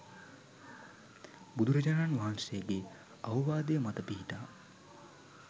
බුදුරජාණන් වහන්සේගේ අවවාදය මත පිහිටා